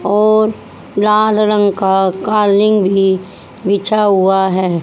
और लाल रंग का कालीन भी बीछा हुआ है।